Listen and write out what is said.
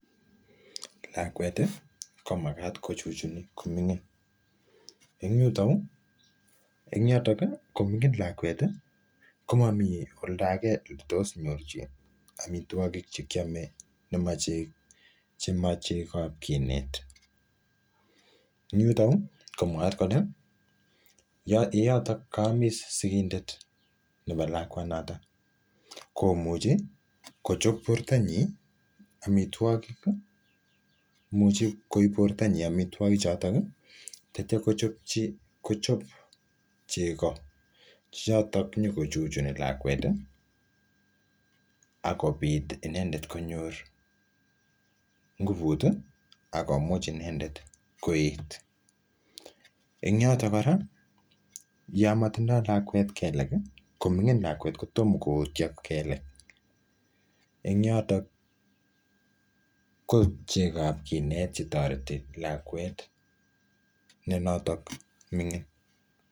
lakweti komagat kochuchuni komingi en yotonuu en yotoki kominging lakweti komomi oldo age eletos nyorchi amitwokik chekiome che chekab kiinet en yuto yuu komwat keleyeyotok komis lakwet sigendet nebo lakwanotok komuchi kochob bortanyin amitwokik imuch koib bortanyin amitwoki choton akochob chego chechoton inyokochuchuni lakweti akobit inendet konyor nguputiak komuch inendet koet en yotok kora yon motindolakwet keleki komingin lakwet kotomkoo otio kele en yoton koib chego kinet cheoreti lakwet neontok mingin